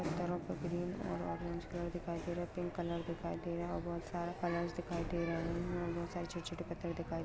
पत्थरो पे ग्रीन और ऑरेंज कलर दिखाई दे रहा है पिंक कलर दिखाई दे रहा है और बहुत सारा कलर्स दिखाई दे रहा है यहां बहुत सारे छोटे-छोटे पत्थर दिखाई --